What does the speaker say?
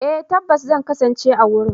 Eh tabbas zan kasance a wurin.